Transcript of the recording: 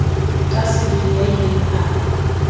ka sebele ya ileng a